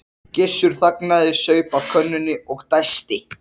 Gissur þagnaði, saup af könnunni og dæsti.